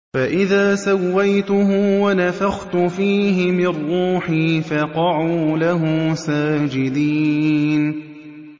فَإِذَا سَوَّيْتُهُ وَنَفَخْتُ فِيهِ مِن رُّوحِي فَقَعُوا لَهُ سَاجِدِينَ